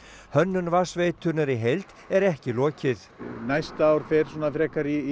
hönnun vatnsveitunnar í heild er ekki lokið næsta ár fer svona frekar í